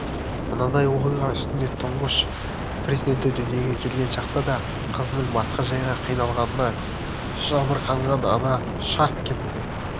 мынадай оқиға үстінде тұңғыш перзенті дүниеге келген шақта да қызының басқа жайға қиналғанына шамырқанған ана шарт кетті